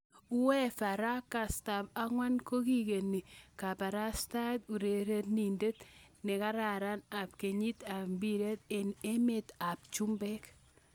UEFA ra kastab angwan kokigeni kobarasta urerenindet ne kararan ab kenyit ab mbiret eng emet ab chumbek.